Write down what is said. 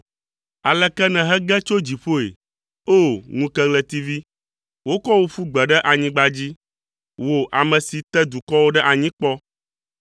Aleke nèhege tso dziƒoe, o ŋukeɣletivi! Wokɔ wò ƒu gbe ɖe anyigba dzi; wò ame si te dukɔwo ɖe anyi kpɔ!